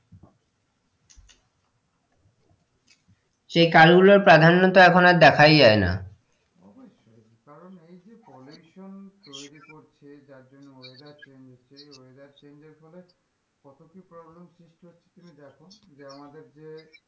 সে কাল গুলোর প্রাধান্যতা এখন আর দেখাই যাই না অবশ্যই কারণ এই যে pollution তৈরি করছে যার জন্য weather change হচ্ছে weather change এর ফলে কত কি problem সৃষ্টি হচ্ছে যার জন্যে আমাদের যে,